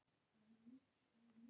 Fornar stólræður.